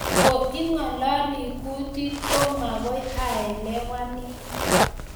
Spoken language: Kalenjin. Kotko ingalali kutit ko magoy aelewanin